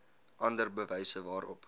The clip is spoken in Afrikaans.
ander bewyse waarop